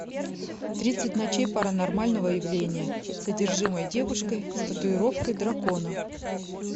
тридцать ночей паранормального явления с одержимой девушкой с татуировкой дракона